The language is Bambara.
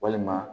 Walima